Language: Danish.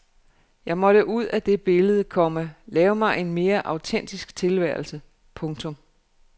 Jeg måtte ud af det billede, komma lave mig en mere autentisk tilværelse. punktum